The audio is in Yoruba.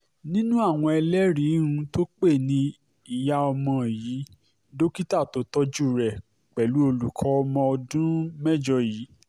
nínú àwọn ẹlẹ́rìí um tó pè ní ìyá ọmọ yìí dókítà tó tọ́jú rẹ̀ pẹ̀lú olùkọ́ ọmọ ọdún um mẹ́jọ yìí